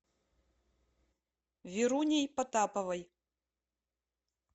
веруней потаповой